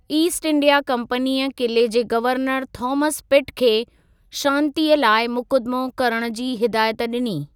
East India कंपनीअ किले जे गवर्नर थॉमस पिट खे शांतिअ लाइ मुक़दमो करणु जी हिदायत ॾिनी।